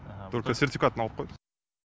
только сертификатын алып қойдық